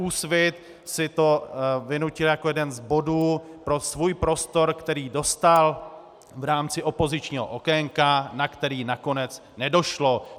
Úsvit si to vynutil jako jeden z bodů pro svůj prostor, který dostal v rámci opozičního okénka, na který nakonec nedošlo.